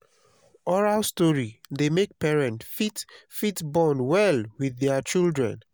oral story dey make parents fit fit bond well with their children